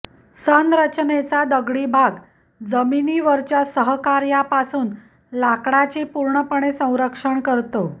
संरचनेचा दगडी भाग जमिनीवरच्या सहकार्यापासून लाकडाची पूर्णपणे संरक्षण करतो